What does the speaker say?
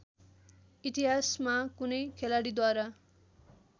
इतिहासमा कुनै खेलाडीद्वारा